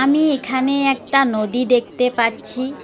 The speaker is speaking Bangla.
আমি এখানে একটা নদী দেখতে পাচ্ছি।